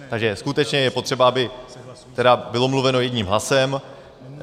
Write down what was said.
Takže skutečně je potřeba, aby bylo mluveno jedním hlasem.